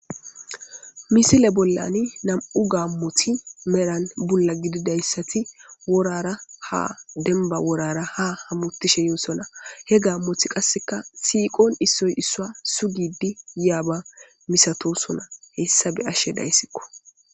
Misile bollani nam'u gaammothi meran bulla gididayssati worara ha denba worara ha hammutishe yoosona he gaammoth qasseka siiqon issoy issua sugidi yaaba misatosona hessabe ashe dayssikko.